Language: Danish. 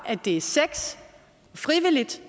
at det er sex frivilligt